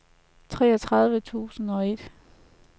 treogtredive tusind og ti